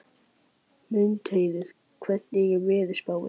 Mundheiður, hvernig er veðurspáin?